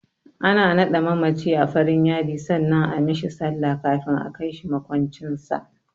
Ana naɗe mamaci a farin yadi sannan a mishi sallah kafin a kai shi maƙwancin sa.